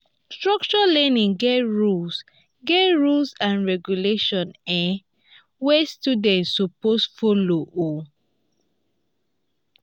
structured learning get rules get rules and regulations um wey students suppose follow um